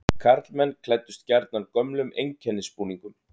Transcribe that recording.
Karlmenn klæddust gjarnan gömlum einkennisbúningum.